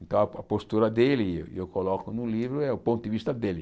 Então, a po a postura dele, e eu coloco no livro, é o ponto de vista dele.